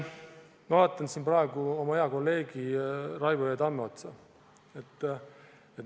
Ma vaatan praegu oma hea kolleegi Raivo E. Tamme otsa.